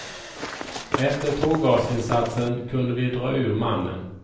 Efter tårgasinsatsen kunde vi dra ur mannen.